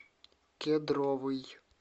кедровый